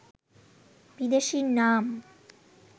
বিদেশির নাম